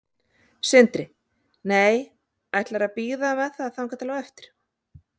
Sindri: Nei, ætlarðu að bíða með það þangað til á eftir?